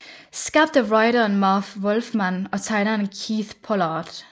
Skabt af writeren Marv Wolfman og tegneren Keith Pollard